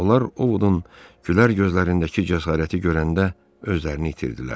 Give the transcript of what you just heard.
Onlar Ovodun gülər gözlərindəki cəsarəti görəndə özlərini itirdilər.